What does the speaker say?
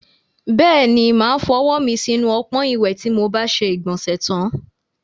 Bẹ́ẹ̀ni, mo máa fọwọ́ mi sínú ọpọ́n ìwẹ̀ tí mo bá ṣe ìgbọ̀nsẹ̀ tán.